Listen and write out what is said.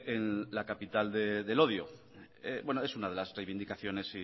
en la capital del odio es una de las reivindicaciones